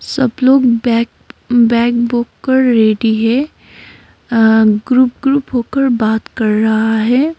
सब लोग bag bag book कर रेडी है ग्रुप ग्रुप होकर बात कर रहा है।